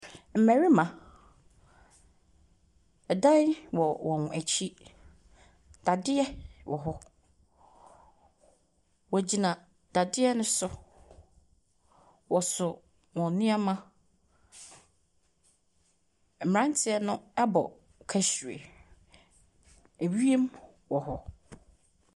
Mmarima, ɛdan wɔwɔn akyi. Dadeɛ wɔ hɔ. Wɔgyina dadeɛ no so. Wɔso wɔn nneɛma. Mmeranteɛ no abɔ kahyire. Ewien wɔ hɔ.